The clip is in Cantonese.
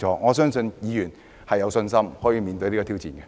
我相信議員都有信心面對這種挑戰。